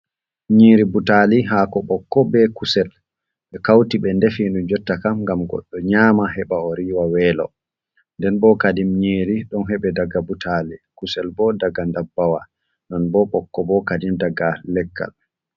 Nyiri butali hako ɓokko be kusel. Bee kauti ɓe ndefi nu jotta kam gam goɗɗo nyama heɓa o riwa welo. Nɗen bo kadim nyiri ɗon heɓe daga butali kusel bo ɗaga ɗabbawa. Non bo bokko bo kaɗim ɗaga lekkal.